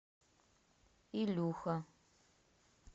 илюха